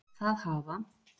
Það hafa